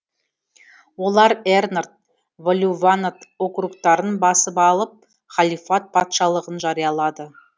олар эрнад валлуванад округтарын басып алып халифат патшалығын жариялады